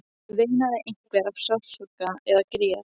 Veinaði einhver af sársauka eða grét?